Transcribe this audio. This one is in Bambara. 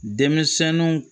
Denmisɛnnu